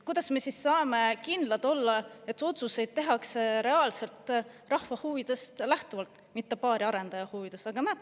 Kuidas me siis saame kindlad olla, et otsuseid tehakse reaalselt rahva huvidest lähtuvalt, mitte paari arendaja huvides?